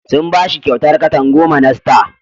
Sun ba shi kyautar katan goma na star.